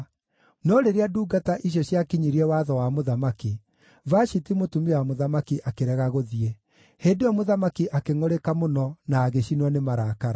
No rĩrĩa ndungata icio ciakinyirie watho wa mũthamaki, Vashiti mũtumia wa mũthamaki akĩrega gũthiĩ. Hĩndĩ ĩyo mũthamaki akĩngʼũrĩka mũno na agĩcinwo nĩ marakara.